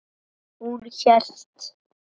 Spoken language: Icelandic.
Hún hélt.